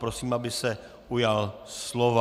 Prosím, aby se ujal slova.